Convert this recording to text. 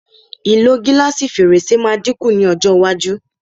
Ìlò gílásì fèrèsé máa dín kù ní ọjọ́ iwájú.